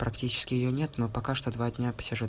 практически её нет но пока что два дня посижу